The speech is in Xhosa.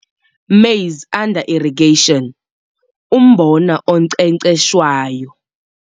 Maize under Irrigation - Umbona oNkcenkceshwayo